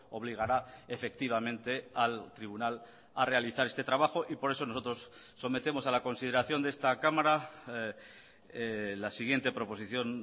obligará efectivamente al tribunal a realizar este trabajo y por eso nosotros sometemos a la consideración de esta cámara la siguiente proposición